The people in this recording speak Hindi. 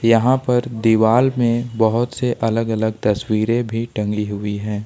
यहां पर दीवाल में बहोत से अलग अलग तस्वीरें भी टंगी हुई हैं।